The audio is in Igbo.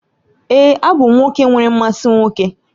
Èé, abụ m nwoke nwere mmasị nwoke